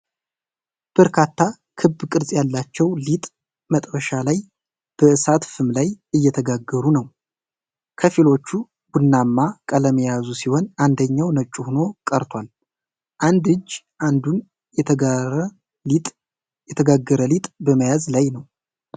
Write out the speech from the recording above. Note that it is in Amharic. በርካታ ክብ ቅርጽ ያላቸው ሊጥ መጥበሻ ላይ በእሳት ፍም ላይ እየተጋገሩ ነው። ከፊሎቹ ቡናማ ቀለም የያዙ ሲሆን፣ አንደኛው ነጭ ሆኖ ቀርቷል። አንድ እጅ አንዱን የተጋገረ ሊጥ በመያዝ ላይ ነው።